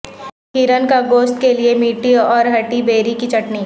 ہرن کا گوشت کے لئے میٹھی اور ھٹی بیری کی چٹنی